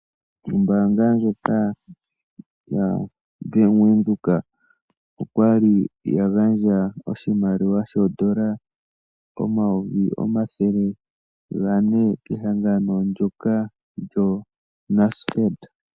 Ombaanga ndjoka ya Bank Widhoek okwali ya gandja oshimaliwa shoondola omayovi omathele gane kehangano ndyoka lyo NASFEED.